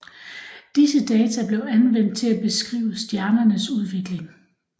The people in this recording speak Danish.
Disse data blev anvendt til at beskrive stjernernes udvikling